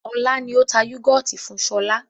Ọlá ni ó tà yúgọ́ọ́tì fún sọlá